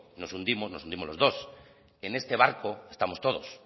nos hundimos nos hundimos los dos en este barco estamos todos